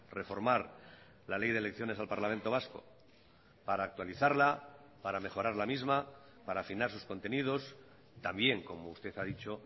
reformar la ley de elecciones al parlamento vasco para actualizarla para mejorar la misma para afinar sus contenidos también como usted ha dicho